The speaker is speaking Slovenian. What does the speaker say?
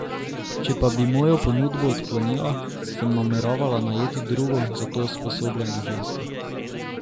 Če pa bi mojo ponudbo odklonila, sem nameravala najeti drugo za to usposobljeno žensko.